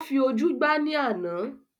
Ó fi ojú gbá ní àna